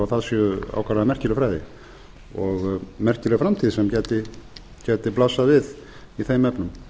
það séu ákaflega merkileg fræði og merkileg framtíð sem gæti blasað við í þeim efnum